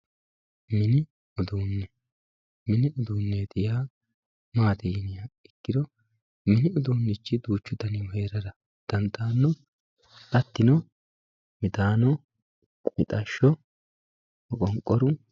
mini uduunne mini uduuneeti yaa maati yiniha ikkiro mini uduunnichi duuchu danihu heerara dandaanno hattino midaano, mixashsho, maqonqoru.